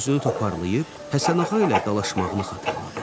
Özünü toparlayıb Həsənağa ilə dalaşmağını xatırladı.